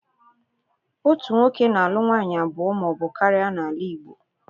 Otu nwoke na- alu nwaanyị abụọ ma ọbụ karịa n'ala Igbo.